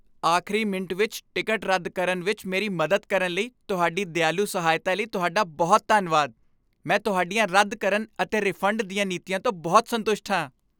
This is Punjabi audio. ਆਖਰੀ ਮਿੰਟ ਵਿੱਚ ਟਿਕਟ ਰੱਦ ਕਰਨ ਵਿੱਚ ਮੇਰੀ ਮਦਦ ਕਰਨ ਲਈ ਤੁਹਾਡੀ ਦਿਆਲੂ ਸਹਾਇਤਾ ਲਈ ਤੁਹਾਡਾ ਬਹੁਤ ਧੰਨਵਾਦ, ਮੈਂ ਤੁਹਾਡੀਆਂ ਰੱਦ ਕਰਨ ਅਤੇ ਰਿਫੰਡ ਦੀਆਂ ਨੀਤੀਆਂ ਤੋਂ ਬਹੁਤ ਸੰਤੁਸ਼ਟ ਹਾਂ।